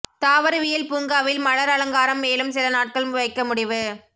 தாவரவியல் பூங்காவில் மலர் அலங்காரம் மேலும் சில நாட்கள் வைக்க முடிவு